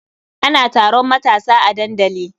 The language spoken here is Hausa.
Ana taron matasa a dandali.